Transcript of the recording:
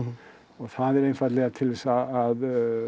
og það er einfaldlega til að